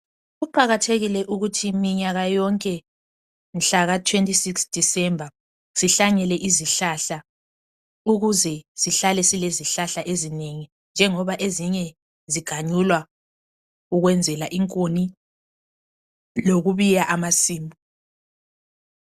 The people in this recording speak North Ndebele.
Kuqakathekile ukuthi minyaka yonke mhlaka 26 december sihlanyele izihlahla ukuze sihlale silezihlahla ezinengi njengoba ezinye ziganyulwa ukwenzela inkuni lokubiya amasimu.